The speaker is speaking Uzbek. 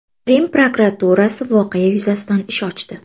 Rim prokuraturasi voqea yuzasidan ish ochdi.